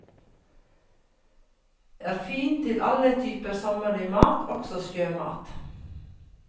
Er fin til alle typer sommerlig mat, også sjømat.